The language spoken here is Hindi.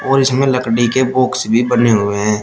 और इसमें लकड़ी के बॉक्स भी बने हुए हैं।